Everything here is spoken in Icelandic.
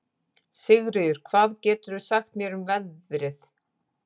Sigríður, hvað geturðu sagt mér um veðrið?